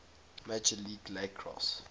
major league lacrosse